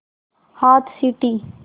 हाथ सीटी